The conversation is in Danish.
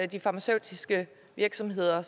de farmaceutiske virksomheder